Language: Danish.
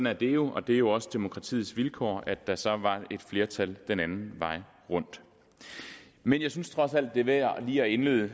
er det jo og det er jo også demokratiets vilkår at der så var et flertal den anden vej rundt men jeg synes trods alt det er værd lige at indlede